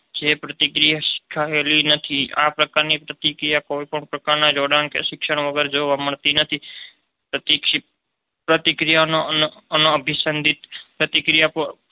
જે પ્રતિક્રિયાથી શીખાયેલી નથી. આ પ્રકારની પ્રતિક્રિયા કોઈપણ પ્રકારના જોડાણ કે શિક્ષણ વગર જોવા મળતી પ્રતિક્ષિપ્ત પ્રતિક્રિયાનેઅનઋષિસંધિત પ્રતિક્રિયા